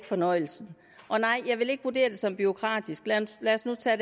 fornøjelse nej jeg vil ikke vurdere det som bureaukratisk lad os nu tage